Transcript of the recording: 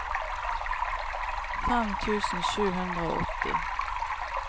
fem tusen sju hundre og åtti